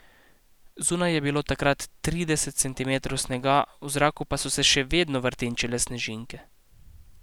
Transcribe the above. Zunaj je bilo takrat trideset centimetrov snega, v zraku pa so se še vedno vrtinčile snežinke.